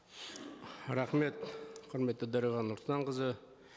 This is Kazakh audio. рахмет құрметті дариға нұрсұлтанқызы